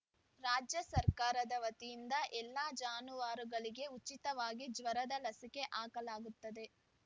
ರಾಜ್ಯ ಸರ್ಕಾರದ ವತಿಯಿಂದ ಎಲ್ಲ ಜಾನುವಾರುಗಳಿಗೆ ಉಚಿತವಾಗಿ ಜ್ವರದ ಲಸಿಕೆ ಹಾಕಲಾಗುತ್ತದೆ